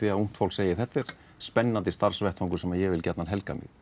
að ungt fólk segi þetta er spennandi starfsvettvangur sem ég vil gjarnan helga mig